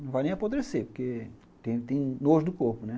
Não vai nem apodrecer, porque tem nojo do corpo, né?